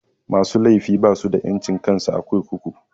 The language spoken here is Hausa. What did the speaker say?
Musu laifi basu da ƴancin kansu a kurkuku.